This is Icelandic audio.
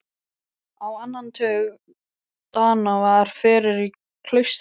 Á annan tug Dana var fyrir í klaustrinu.